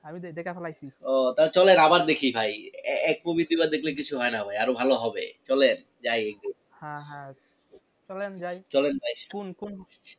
আমি দেখে ফালাইসি। ও তাহলে চলেন আবার দেখি ভাই এক ~এক movie দুই বার দেখলে কিছু হয় না ভাই আরো ভালো হবে, চলেন যাই একদিন। হ্যাঁ হ্যাঁ চলেন যাই। চলেন ভাই কুন্ কুন্